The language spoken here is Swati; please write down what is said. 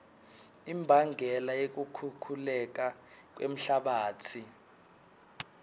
imbangela yekukhukhuleka kwemhlabatsi